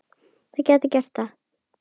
Ég gæti gert það.